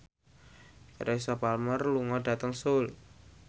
Teresa Palmer lunga dhateng Seoul